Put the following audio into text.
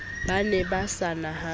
ba ne ba sa nahane